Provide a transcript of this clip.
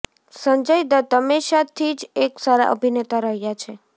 સંજય દત્ત હમેશા થી જ એક સારા અભિનેતા રહ્યા છે